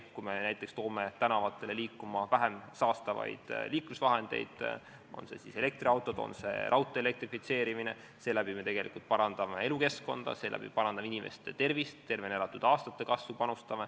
Kui me paneme liikuma vähem saastavaid liiklusvahendeid – on need siis elektriautod või on see raudtee elektrifitseerimine –, siis me parandame elukeskkonda, parandame inimeste tervist, panustame tervena elatud aastate kasvu.